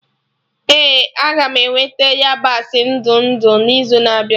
Ee aga m eweta yabasị ndụ ndụ n'izu na-abịa